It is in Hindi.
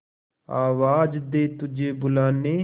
आवाज दे तुझे बुलाने